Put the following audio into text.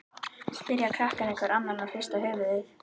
spyrja krakkarnir hver annan og hrista höfuðið.